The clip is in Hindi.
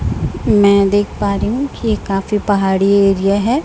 मैं देख पा रही हूं कि ये काफी पहाड़ी एरिया है।